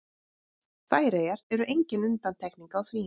Færeyjar eru engin undantekning á því.